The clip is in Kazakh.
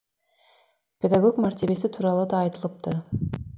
педагог мәртебесі туралы да айтылыпты